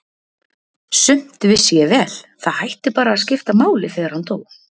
Sumt vissi ég vel, það hætti bara að skipta máli þegar hann dó.